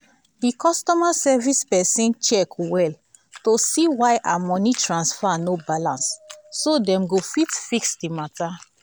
the customer service person check well to see why her money transfer no balance so dem go fit fix the matter.